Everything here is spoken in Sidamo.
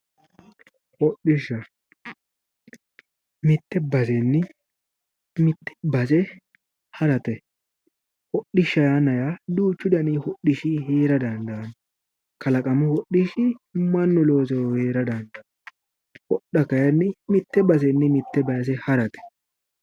Hodhishsha mitte basenni mitte base harate hodhishsha yaa duuchu dani hodhishshi heera dandaanno kalaqamu hodhishshi mannu ooseyori heera dandaanno hodha kayinni mitte basenni mitte base harate